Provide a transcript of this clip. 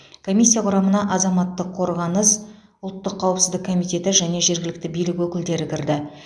комиссия құрамына азаматтық қорғаныс ұлттық қауіпсіздік комитеті және жергілікті билік өкілдері кірді